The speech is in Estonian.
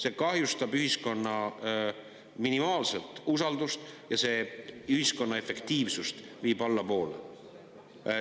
See kahjustab ühiskonna minimaalset usaldust ja viib ühiskonna efektiivsust allapoole.